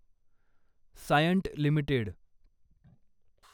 Cyient limited